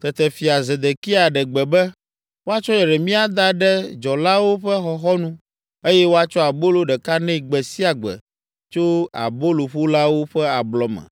Tete fia Zedekia ɖe gbe be, woatsɔ Yeremia ada ɖe dzɔlawo ƒe xɔxɔnu eye woatsɔ abolo ɖeka nɛ gbe sia gbe tso aboloƒolawo ƒe ablɔ me,